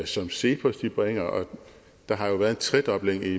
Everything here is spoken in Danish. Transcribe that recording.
som cepos bringer og der har jo været en tredobling i